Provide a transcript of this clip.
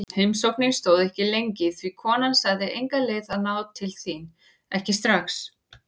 Heimsóknin stóð ekki lengi því konan sagði enga leið að ná til þín, ekki strax.